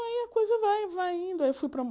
Aí a coisa vai vai indo. Aí eu fui